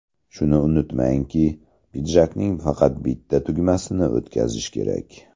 Shuni unutmangki, pidjakning faqat bitta tugmasini o‘tkazish kerak.